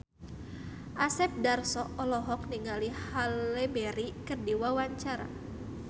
Asep Darso olohok ningali Halle Berry keur diwawancara